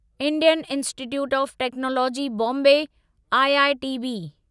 Indian Institute of Technology Bombay IITB